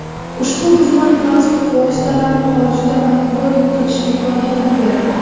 Ushbu xizmat transport vositalarini xorijda monitoring qilish imkoniyatini beradi.